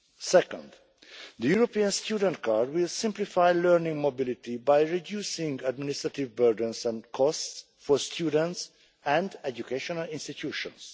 Second, the European student card will simplify learning mobility by reducing administrative burdens and costs for students and educational institutions.